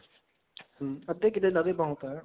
ਹਮ ਅੱਧਾ ਕਿੱਲਾ ਲਾਦੇ ਬਹੁਤ ਹੈ